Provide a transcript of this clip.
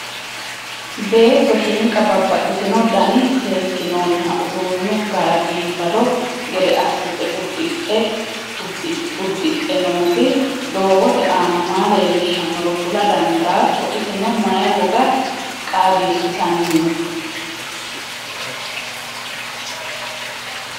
beetto shniqa babaxxino danini seekinoniha uddunu gara bifado gede assite uddixe nooti dogote aana maa leelishonoro kula daandato isseno mayi woga qaagisitannino?